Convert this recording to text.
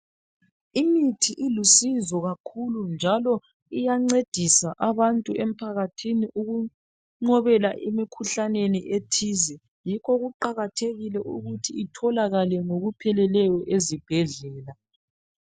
Imithi ilusizo kakhulu njalo iyancedisa abantu emphakathini ukunqobela imikhuhlane ethize yikho kuqakathekile ukuthi itholakale ngokupheleleyo ezibhedlela